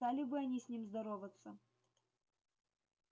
стали бы они с ним здороваться